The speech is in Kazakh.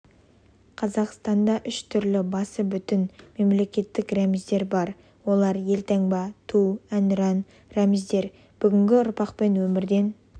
қазақстанда үш түрлі басы бүтін мемлекеттік рәміздер бар олар елтаңба ту әнұран рәміздер бүгінгі ұрпақпен өмірден